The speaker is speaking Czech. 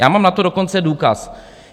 Já mám na to dokonce důkaz.